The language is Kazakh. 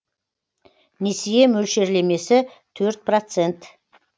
несие мөлшерлемесі төрт процент